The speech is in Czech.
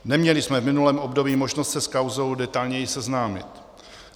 Neměli jsme v minulém období možnost se s kauzou detailněji seznámit.